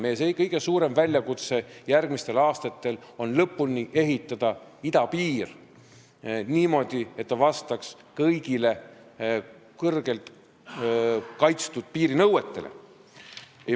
Meie kõige suurem ülesanne järgmistel aastatel on lõpuni ehitada idapiir, et see vastaks kõigile hästi kaitstud piiri nõuetele.